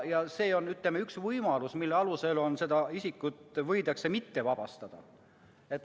Ja see on, ütleme, üks võimalus, mille alusel seda isikut võidakse kodakondsusest mitte vabastada.